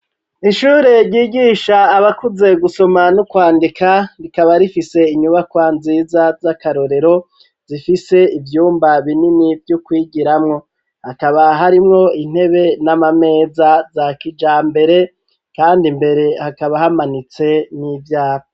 Ishure ryigisha abakuze gusoma no kwandika rikaba rifise inyubakwa nziza z'akarorero zifise ivyumba binini vyo kwigiramo hakaba harimwo intebe n'amameza za kijambere kandi mbere hakaba hamanitse n'ivyapa